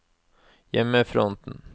hjemmefronten